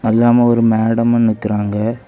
இல்லாம ஒரு மேடமும் நிக்கறாங்க.